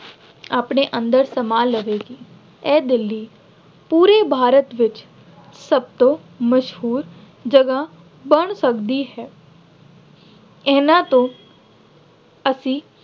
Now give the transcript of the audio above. ਆਪਣੇ ਅੰਦਰ ਸਮਾ ਲਵੇਗੀ। ਇਹ ਦਿੱਲੀ ਪੂਰੇ ਭਾਰਤ ਵਿੱਚ ਸਭਂ ਤੋਂ ਮਸ਼ਹੂਰ ਜਗ੍ਹਾ ਬਣ ਸਕਦੀ ਹੈ। ਇਹਨਾ ਤੋਂ ਅਸੀਂ